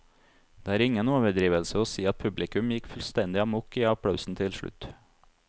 Det er ingen overdrivelse å si at publikum gikk fullstendig amok i applausen til slutt.